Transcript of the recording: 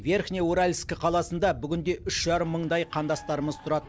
верхнеуральск қаласында бүгінде үш жарым мыңдай қандасымыз тұрады